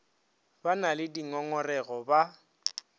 ba na le dingongorego ba